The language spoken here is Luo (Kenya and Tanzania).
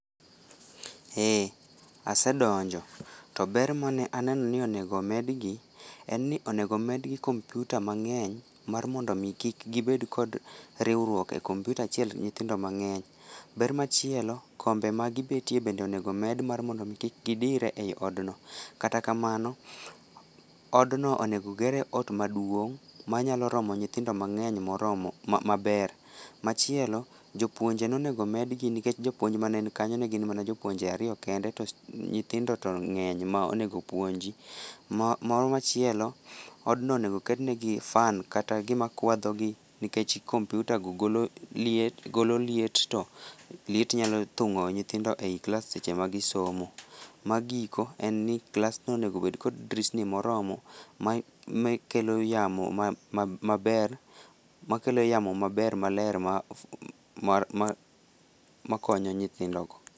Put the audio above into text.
Eeeh, asedonjo. To ber mane aneno ni onego medgi en ni onego medgi kompuita mang'eny mar mondo mi kik gibed kod riwruok e kompuita achien nyithindo mang'eny. Ber machielo, kombe ma gibetie bende onego omed mar mondo mi kik gidire ei od no. Kata kamano, od no onego gere ot maduong' manyalo romo nyithindo mang'eny moromo maber. Machielo, jopuonje nonego med gi nikech jopuonj mane nikanyo ne gin mana jopuonje ariyo kende to nyithindo to ng'eny ma onego puonji. Moro machielo, odno onego ket negi fan kata gima kwadho gi nikech komputa go golo liet to liet nyalo thung'o nyithindo ei klas seche ma gisomo. Magiko en ni, klas no onego bed kod drisni moromo ma kelo yamo maber, makelo yamo maber, maler ma konyo nyithindo go.